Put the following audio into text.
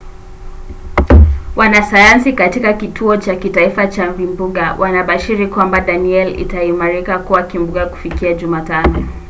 wanasayansi katika kituo cha kitaifa cha vimbunga wanabashiri kwamba danielle itaimarika kuwa kimbunga kufikia jumatano